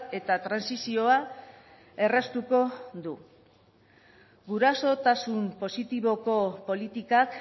eta trantsizioa erraztuko du gurasotasun positiboko politikak